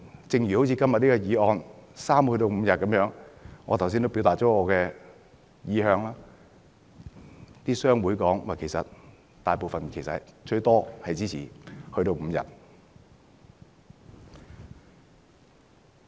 正如今天的法案，由3天增至5天，我剛才已表達我的意向，大部分商會表示最多支持增至5天。